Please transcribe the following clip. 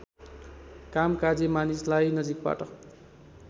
कामकाजी मानिसलाई नजिकबाट